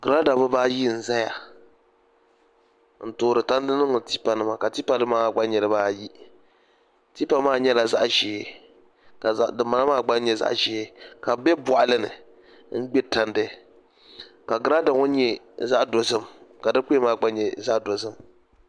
Girada dibayi n ʒɛya n toori tandi niŋdi tipa ni ka tipa nim maa gba nyɛ dibaayi tipa maa nyɛla zaɣ ʒiɛ ka dinbala maa gba nyɛ zaɣ ʒiɛ ka bi bɛ boɣali ni n gbiri tandi ka girada ŋo nyɛ zaɣ dozim ka di kuya maa gba nyɛ zaɣ dozim